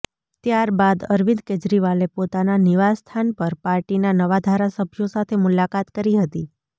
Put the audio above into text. ત્યાર બાદ અરવિંદ કેજરીવાલે પોતાના નિવાસ સ્થાન પર પાર્ટીના નવા ધારાસભ્યો સાથે મુલાકાત કરી હતી